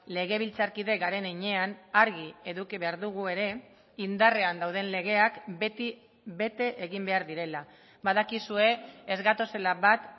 legebiltzarkide garen heinean argi eduki behar dugu ere indarrean dauden legeak beti bete egin behar direla badakizue ez gatozela bat